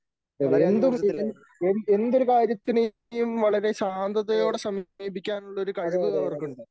എന്തും എ എ എന്തൊരു കാര്യത്തിനെയും വളരെ ശാന്തതയോടെ സമീപിക്കാനുള്ള ഒരു കഴിവ് അവർക്കുണ്ട്.